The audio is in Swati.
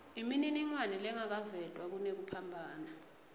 imininingwane lengakavetwa kunekuphambana